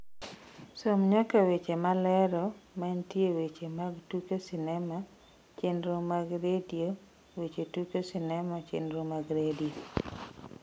som nyaka weche malero mantie weche mag tuke sinema chenro mag redio weche tuke sinema chenro mag redio